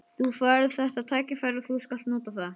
Þú færð þetta tækifæri og þú skalt nota það.